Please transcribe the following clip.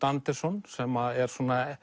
Anderson sem er